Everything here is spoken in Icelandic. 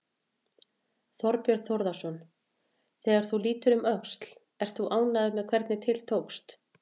Þorbjörn Þórðarson: Þegar þú lítur um öxl, ert þú ánægður með hvernig til tókst?